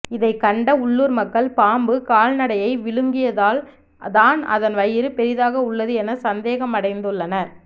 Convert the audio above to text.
இதை கண்ட உள்ளுர் மக்கள் பாம்பு கால்நடையை விழுங்கியதால் தான் அதன் வயிறு பெரிதாக உள்ளது என சந்தேகமடைந்துள்ளனர்